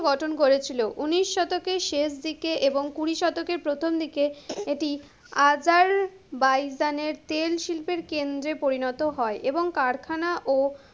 গঠন করেছিলো। উনিশ শতকের শেষ দিকে এবং কুড়ি শতকের প্রথম দিকে, এটি আজারবাইজানের তেল শিল্পের কেন্দ্রে পরিণত হয়, এবং কারখানা ও,